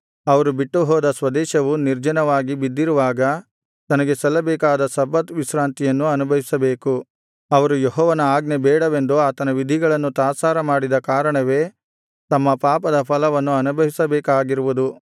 ಅವರು ಬಿಟ್ಟುಹೋದ ಸ್ವದೇಶವು ನಿರ್ಜನವಾಗಿ ಬಿದ್ದಿರುವಾಗ ತನಗೆ ಸಲ್ಲಬೇಕಾದ ಸಬ್ಬತ್ ವಿಶ್ರಾಂತಿಯನ್ನು ಅನುಭವಿಸಬೇಕು ಅವರು ಯೆಹೋವನ ಆಜ್ಞೆ ಬೇಡವೆಂದು ಆತನ ವಿಧಿಗಳನ್ನು ತಾತ್ಸಾರ ಮಾಡಿದ ಕಾರಣವೇ ತಮ್ಮ ಪಾಪದ ಫಲವನ್ನು ಅನುಭವಿಸಬೇಕಾಗಿರುವುದು